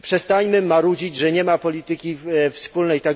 I przestańmy marudzić, że nie ma polityki wspólnej.